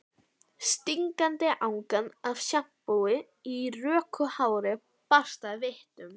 Stingandi angan af sjampói í röku hári barst að vitum